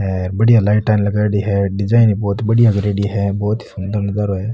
बढ़िया लाइटा लगाईडी है डिजाइना बहोत बढ़िया करेड़ी है बहोत ही सुन्दर नजारो है।